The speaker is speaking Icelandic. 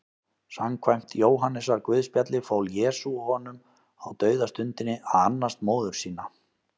Samkvæmt Jóhannesarguðspjalli fól Jesús honum á dauðastundinni að annast móður sína.